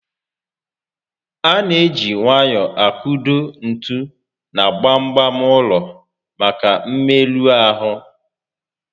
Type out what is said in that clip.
A na eji nwayọọ akụdo ntu na gbam gbam ụlọ maka mmerụ ahụ